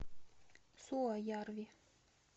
суоярви